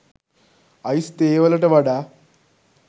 ice තේ වලට වඩා